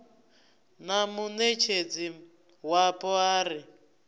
na muṋetshedzi wapo a re